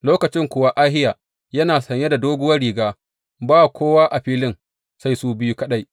Lokacin kuwa Ahiya yana saye da sabuwar riga, ba kowa a filin sai su biyu kaɗai.